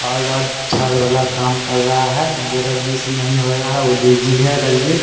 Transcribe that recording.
Hard hard झाड़ वाला काम कर रहा है जो रघुवर से नहीं हो रहा है वह लेजी है रघुवीर।